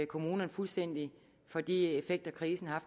kommunerne fuldstændig for de effekter krisen har